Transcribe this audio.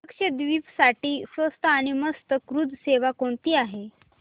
लक्षद्वीप साठी स्वस्त आणि मस्त क्रुझ सेवा कोणती आहे